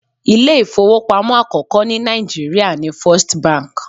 Ilé ifowopamo àkọ́kọ́ ní Naijiria ni First bank.